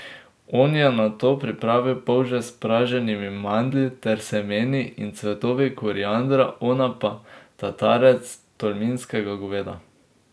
On je nato pripravil polže s praženimi mandlji ter semeni in cvetovi koriandra, ona pa tatarec tolminskega goveda.